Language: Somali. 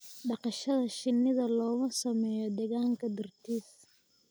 dhaqashada shinnida looma sameeyo deegaanka dartiis.